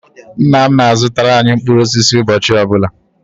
Nna m na-azụtara anyị mkpụrụ osisi ụbọchị ọ bụla